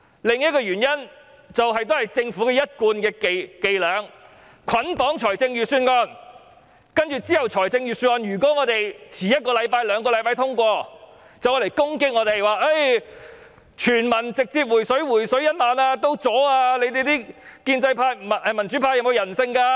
另一個原因就是，政府的一貫伎倆是捆綁預算案，接着如果我們延遲一兩個星期通過預算案，便攻擊我們，說泛民議員連全民"回水 "1 萬元也阻攔，有沒有人性？